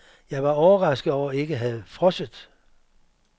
Jeg var overrasket over ikke at have frosset.